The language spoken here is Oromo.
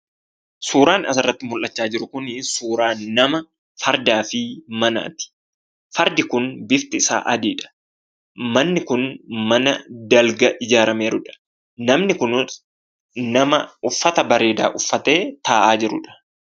Suuraan asirratti mul'achaa jiru kun, suuraa namaa, fardaa fi manaati. Fardi kun bifti isaa adiidha. Manni kun mana dalga ijaaramee jiruudha. Namni kunis nama uffata bareedaa uffatee taa'aa jiruudha